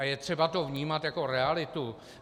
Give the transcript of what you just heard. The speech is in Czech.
A je třeba to vnímat jako realitu.